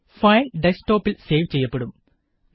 file desk ടോപില് save ചെയ്യപ്പെടും